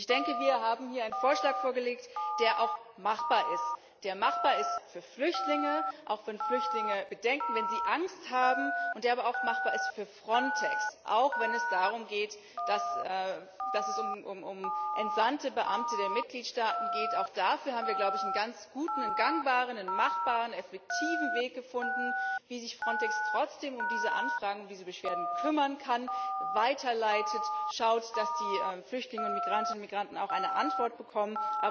Ich denke, wir haben hier einen Vorschlag vorgelegt, der auch machbar ist, der machbar ist für Flüchtlinge auch wenn Flüchtlinge Bedenken oder wenn sie Angst haben und der aber auch machbar ist für Frontex, auch wenn es um entsandte Beamte der Mitgliedstaaten geht. Auch dafür haben wir, glaube ich, einen ganz guten, einen gangbaren und machbaren, effektiven Weg gefunden, wie sich Frontex trotzdem um diese Anfragen, um diese Beschwerden kümmern kann, sie weiterleitet, und schaut, dass die Flüchtlinge, Migrantinnen und Migranten auch eine Antwort bekommen.